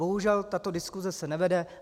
Bohužel tato diskuse se nevede.